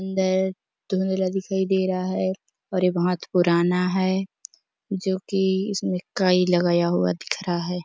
अंदर धुंधला दिखाई दे रहा है और ये बहुत पुराना है जो की इसमें काई लगाया हुआ दिख रहा है।